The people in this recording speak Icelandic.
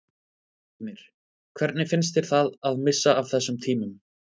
Heimir: Hvernig finnst þér það að missa af þessum tímum?